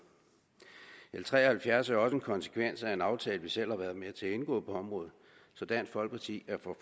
l tre og halvfjerds er jo også en konsekvens af en aftale vi selv har været med til at indgå på området så dansk folkeparti er for